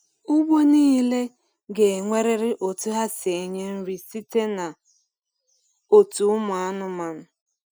Ugbo nile ga enwerịrị otu ha si enye nri site na otu ụmụ anụmanụ